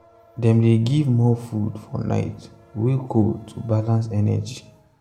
dem dey give more food for night way cold to balance energy.